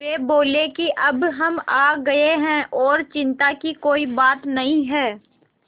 वे बोले कि अब हम आ गए हैं और चिन्ता की कोई बात नहीं है